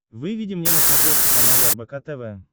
выведи мне на смотрешке канал рбк тв